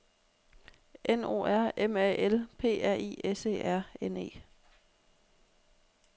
N O R M A L P R I S E R N E